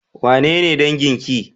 Wanene dangin ki?